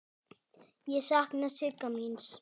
Ég sakna Sigga míns.